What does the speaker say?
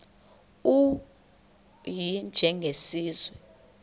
u y njengesiwezi